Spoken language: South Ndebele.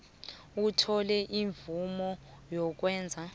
athole imvumo yokwenza